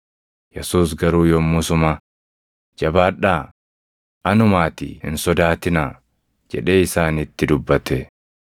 Yesuus garuu yommusuma, “Jabaadhaa! Anumaatii hin sodaatinaa” jedhee isaanitti dubbate.